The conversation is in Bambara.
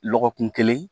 Lɔgɔkun kelen